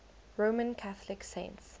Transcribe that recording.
roman catholic saints